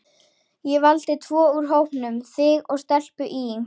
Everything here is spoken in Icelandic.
Ég valdi tvo úr hópnum, þig og stelpu í